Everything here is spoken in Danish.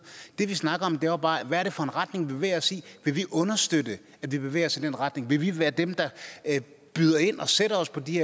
det vi snakker om er jo bare hvad er det for en retning vi bevæger os i vil vi understøtte at vi bevæger os i den retning vil vi være dem der byder ind og sætter os på de